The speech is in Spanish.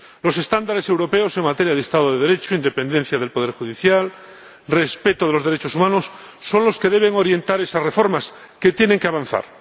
Los estándares europeos en materia de Estado de Derecho, independencia del poder judicial y respeto de los derechos humanos son los que deben orientar esas reformas, que tienen que avanzar.